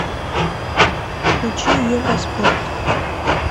включи евроспорт